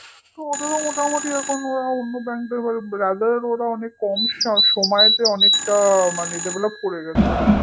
so ওদেরও মোটামুটি অন্য bank র মত rather ওরা অনেক কম সময়ে মানে অনেকটা develop করে গেছে